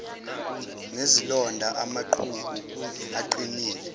nezilonda amaqhubu aqinile